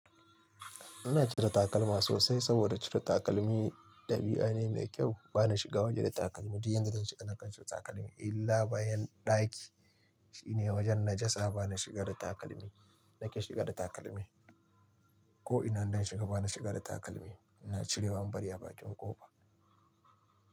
Ina cire takalma sosai saboda cire takalmi ɗabi'a ne mai kyau. Bana shiga waje da takalmi, duk inda zan shiga nakan cire takalmi illa bayan ɗaki shine wajen najasa bana shiga da takalmi, nake shiga da takalmi ko ina zan shiga bana shiga da takalmi. Ina cirewa in bari a bakin ƙofa.